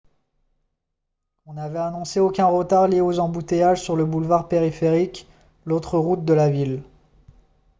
on avait annoncé aucun retard lié aux embouteillages sur le boulevard périphérique l'autre route de la ville